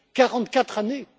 quarante quatre années